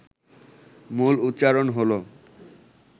মূল উচ্চারণ হল